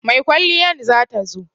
Mai kwalliyan za ta zo.